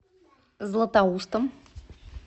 златоустом